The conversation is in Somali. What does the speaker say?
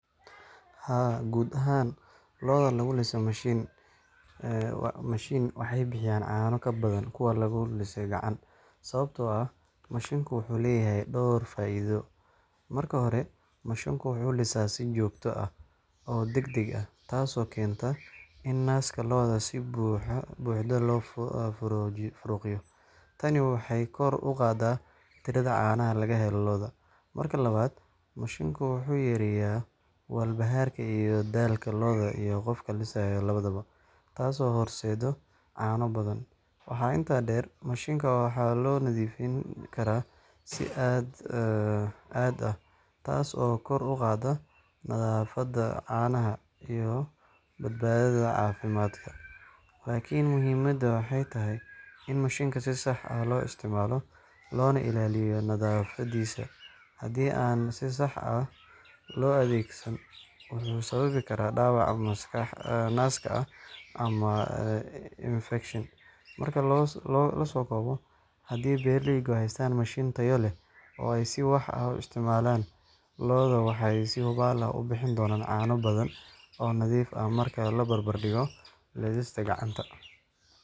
Haa, guud ahaan, lo’da lagu liso mashiin waxay bixiyaan caano ka badan kuwa lagu liso gacanta, sababtoo ah mashiinku wuxuu leeyahay dhowr faa’iido: Marka hore, mashiinku wuxuu lisaa si joogto ah oo degdeg ah, taasoo keenta in naaska lo’da si buuxda loo faaruqiyo. Tani waxay kor u qaadaa tirada caanaha laga helo lo’da. Marka labaad, mashiinku wuxuu yareeyaa walbahaarka iyo daalka lo’da iyo qofka lisaya labadaba, taasoo horseedda caano badan. Waxaa intaa dheer, mashiinka waxaa loo nadiifin karaa si aad ah, taas oo kor u qaadda nadaafadda caanaha iyo badbaadada caafimaadka. Laakiin muhiimaddu waxay tahay in mashiinka si sax ah loo isticmaalo, loona ilaaliyo nadaafaddiisa. Haddii aan si sax ah loo adeegsan, wuxuu sababi karaa dhaawac naaska ah ama infekshan. Marka la soo koobo, haddii beeraleydu haystaan mashiin tayo leh oo ay si sax ah u isticmaalaan, lo’doodu waxay si hubaal ah u bixin doonaan caano badan oo nadiif ah marka la barbar dhigo lisidda gacanta.